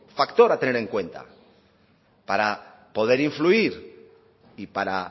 factor a tener en cuenta para poder influir y para